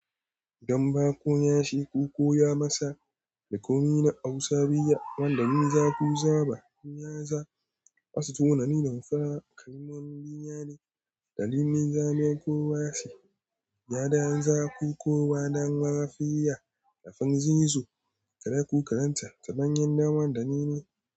Gamba ko yashi ko koya masa da komi na Hausa biya, wanda bin za ku zaba, kun yaza, asu tunanin damfara, ƙarin wani binya ne, dalilin zame ko wasi, ya danyen za ku kowa don mafiya, da fanzi su, kare ku karanta ta bayan daman da ni ne.